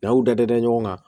N'aw dadɛ ɲɔgɔn kan